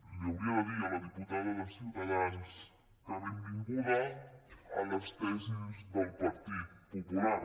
ho hauria de dir a la diputada de ciutadans que benvinguda a les tesis del partit popular